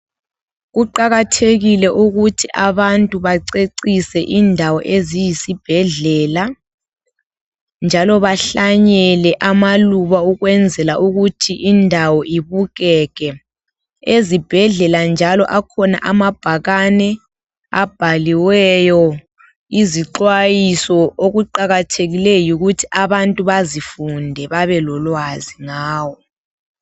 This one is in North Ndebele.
Kuqakathekile ukuthi abantu bacecise indawo eziyisibhedlela njalo behlanyele amaluba ukwenzela ukuthi indawo ibukeke ezibhedlela njalo akhona amabhakani abhaliweyo ixwayiso okuqakathekileyo yikuthi abantu bezifunde bebelolwazi ngayo